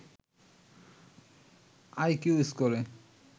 IQ স্কোরে